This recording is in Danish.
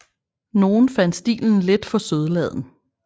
Nogle fandt stilen lidt for sødladen